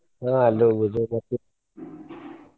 ಆಹ್ ಅಲ್ಲು ಹೋಗ್ಬಹುದು ಮತ್ತ .